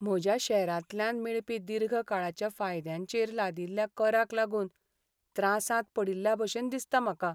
म्हज्या शॅरांतल्यान मेळपी दीर्घ काळाच्या फायद्यांचेर लादिल्ल्या कराक लागून त्रासांत पडिल्ल्याभशेन दिसता म्हाका.